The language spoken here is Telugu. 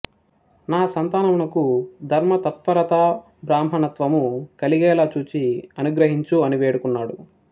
నా సంతానముకు ధర్మతత్పరత బ్రాహ్మణత్వము కలిగేలా చూచి అనుగ్రహించు అని వేడుకున్నాడు